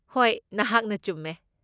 ꯍꯣꯏ, ꯅꯍꯥꯛꯅ ꯆꯨꯝꯃꯦ꯫